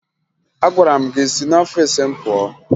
Agwara m gị si n'ọfiisi m pụọ!